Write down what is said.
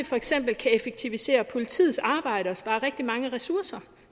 for eksempel kan effektivisere politiets arbejde og spare rigtig mange ressourcer